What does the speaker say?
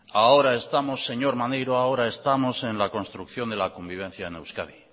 ahora estamos señor maneiro en la construcción de la convivencia en euskadi